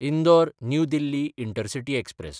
Indore New Delhi intercity express